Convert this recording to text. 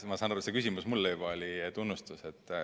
Ma saan aru, et juba see küsimus oli mulle tunnustus.